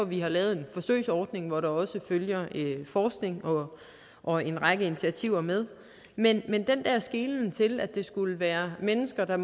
vi har lavet en forsøgsordning hvor der også følger forskning og en række initiativer med men den der skelen til at det skulle være mennesker der